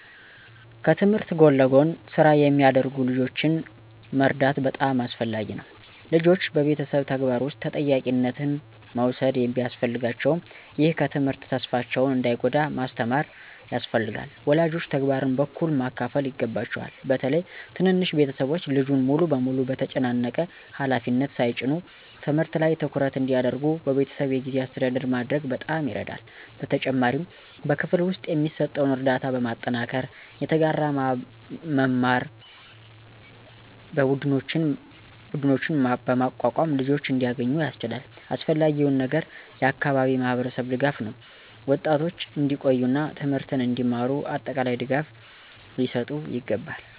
ከትምህርት ጎን ለጎን ስራ የሚያደርጉ ልጆችን መርዳት በጣም አስፈላጊ ነው። ልጆች በቤተሰብ ተግባር ውስጥ ተጠያቂነት መውሰድ ቢያስፈልጋቸውም፣ ይህ ከትምህርት ተስፋቸውን እንዳይጎዳ ማስተካከል ያስፈልጋል። ወላጆች ተግባርን በእኩል ማካፈል ይገባቸዋል፣ በተለይም ትንንሽ ቤተሰቦች ልጁን ሙሉ በሙሉ በተጨናነቀ ሃላፊነት ሳይጭኑ። ትምህርት ላይ ትኩረት እንዲያደርጉ በቤተሰብ የጊዜ አስተዳደር ማድረግ በጣም ይረዳል። በተጨማሪም በክፍል ውስጥ የሚሰጠውን ርዳታ በማጠናከር፣ የተጋራ መማር ቡድኖችን በማቋቋም ልጆች እንዲያገኙ ያስችላል። አስፈላጊው ነገር የአካባቢ ማህበረሰብ ድጋፍ ነው፤ ወጣቶች እንዲቆዩ እና ትምህርትን እንዲማሩ አጠቃላይ ድጋፍ ሊሰጥ ይገባል።